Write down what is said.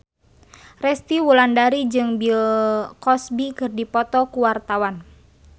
Resty Wulandari jeung Bill Cosby keur dipoto ku wartawan